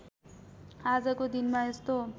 आजको दिनमा यस्तो